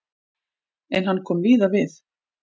En hann kom víða við.